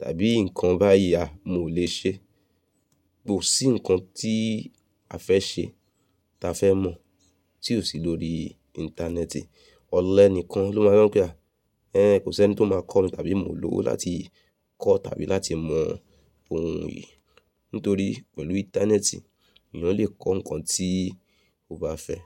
tàbí nǹkan báyìí a mo lè ṣe. Kò sí nǹkan tí a fẹ́ ṣe ta fẹ́ mọ̀ tí ò sí lórí Íńtánẹ́ẹ̀tì. Ọ̀lẹ ni kan ló máa ń npe àh. Ẹ̀n, kò sí ẹni tí ó máa kọ́ mi tàbí mo lòwo láti kọ́ tàbí láti mọ ohun yìí. Nítorí pẹ̀lú Íńtánẹ́ẹ̀tì, ènìyàn lè kọ́ nǹkan tí ó bá fẹ́